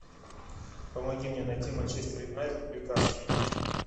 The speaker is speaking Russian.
помоги мне найти манчестер юнайтед ньюкасл